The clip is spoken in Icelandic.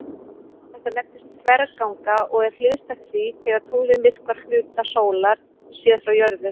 Þetta nefnist þverganga og er hliðstætt því þegar tunglið myrkvar hluta sólar séð frá jörðu.